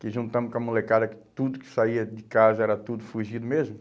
Que juntamos com a molecada que, tudo que saía de casa era tudo fugido mesmo.